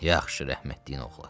Yaxşı, rəhmətliyin oğlu.